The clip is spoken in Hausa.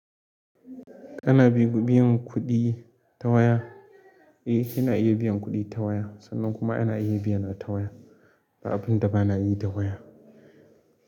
Ana biyan kuɗi ta waya, eh ana iya biyan kuɗi ta waya, sannan kuma ana iya biyana ta waya. Ba abun da ba na yi da waya.